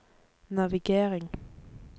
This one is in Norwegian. navigering